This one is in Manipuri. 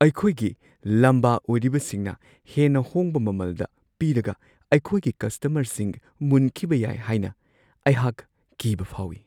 ꯑꯩꯈꯣꯏꯒꯤ ꯂꯝꯕꯥ ꯑꯣꯏꯔꯤꯕꯁꯤꯡꯅ ꯍꯦꯟꯅ ꯍꯣꯡꯕ ꯃꯃꯜꯗ ꯄꯤꯔꯒ ꯑꯩꯈꯣꯏꯒꯤ ꯀꯁꯇꯃꯔꯁꯤꯡ ꯃꯨꯟꯈꯤꯕ ꯌꯥꯏ ꯍꯥꯏꯅ ꯑꯩꯍꯥꯛ ꯀꯤꯕ ꯐꯥꯎꯋꯤ ꯫